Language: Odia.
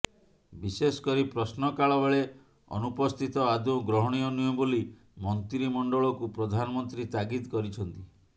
ବିଶେଷ କରି ପ୍ରଶ୍ନକାଳ ବେଳେ ଅନୁପସ୍ଥିତ ଆଦୌ ଗ୍ରହଣୀୟ ନୁହେଁ ବୋଲି ମନ୍ତ୍ରିମଣ୍ଡଳକୁ ପ୍ରଧାନମନ୍ତ୍ରୀ ତାଗିଦ କରିଛନ୍ତି